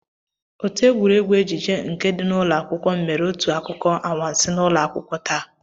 Otù égwurégwu ejije nke ndị ụlọ akwụkwọ m mèrè otu akụkọ anwansi n'ụlọ akwụkwọ taa